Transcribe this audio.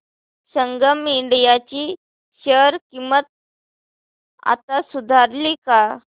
संगम India ची share किंमत आता सुधारली का